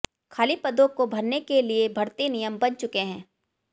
खाली पदों को भरने के लिए भर्ती नियम बन चुके हैं